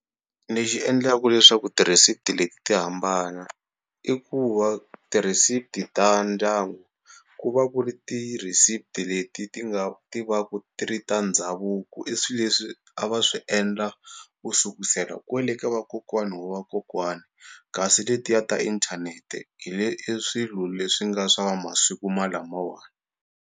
Lexi endlaku leswaku ti-receipt leti ti hambana i ku va ti-receipt ta ndyangu ku va ku ri ti-receipt leti ti nga ti va ku ti ri ta ndhavuko i swi leswi a va swi endla ku sukusela kwele ka vakokwana wa vakokwana kasi letiya ta inthanete hi le i swilo leswi nga swa va masiku ma lamawa.